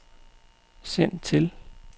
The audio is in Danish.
send til